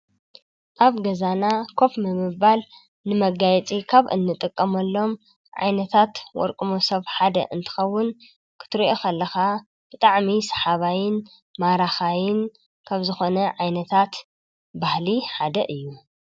ኣብ ገዛና ኮፍ ንምባል ንመጋየፂ ካብ እንጥቀመሎም ዓይነታት ወርቂ መሶብ ሓደ እንትኸውን ክትሪኦ ከለኻ ብጣዕሚ ሰሓባይን ማራኻይን ካብ ዝኮነ ዓይነታት ባህሊ ሓደ እዪ ።